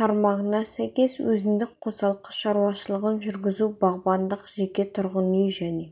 тармағына сәйкес өзіндік қосалқы шаруашылығын жүргізу бағбандық жеке тұрғын үй және